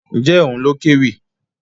Ǹjẹ́ òun ló kéwì?